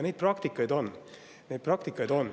Neid praktikaid on, neid praktikaid on.